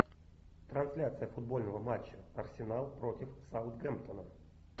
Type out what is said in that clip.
трансляция футбольного матча арсенал против саутгемптона